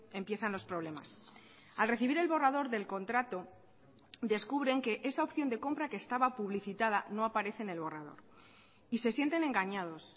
empiezan los problemas al recibir el borrador del contrato descubren que esa opción de compra que estaba publicitada no aparece en el borrador y se sienten engañados